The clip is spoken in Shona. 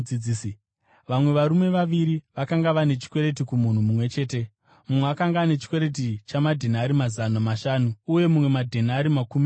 “Vamwe varume vaviri vakanga vane chikwereti kumunhu mumwe chete. Mumwe akanga ane chikwereti chamadhenari mazana mashanu, uye mumwe madhenari makumi mashanu.